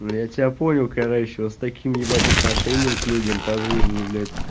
ну я тебя понял короче вот с таким ебать отношением к людям по жизни блять